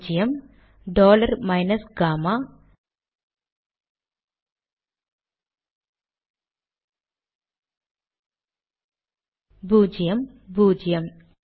பூஜ்யம் dollar minus gamma பூஜ்யம் பூஜ்யம்